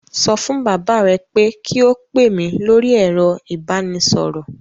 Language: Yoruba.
Sọ fún bàbá rẹ pé kí ó pè mí lórí ẹ̀rọ ìbánisọ̀rọ̀